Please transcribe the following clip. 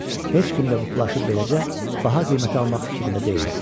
Heç kim də bu plaşı beləcə baha qiymətə almaq fikrində deyildi.